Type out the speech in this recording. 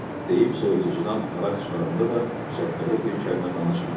deyib soyuducudan araq çıxaranda da Şəhbəli bir kəlmə danışmırdı.